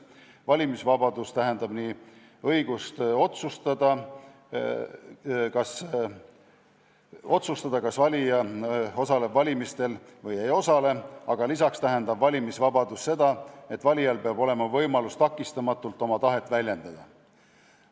Valimisvabadus tähendab nii õigust otsustada, kas valija osaleb valimistel või ei osale, aga lisaks tähendab valimisvabadus ka seda, et valijal peab olema võimalus takistamatult oma tahet väljendada.